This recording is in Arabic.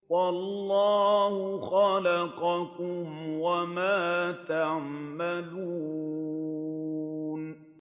وَاللَّهُ خَلَقَكُمْ وَمَا تَعْمَلُونَ